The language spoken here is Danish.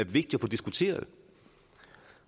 vigtig at få diskuteret